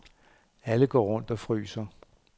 Alle går rundt og fryser.